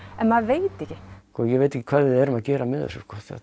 en maður veit ekki sko ég veit ekki hvað við erum að gera með þessu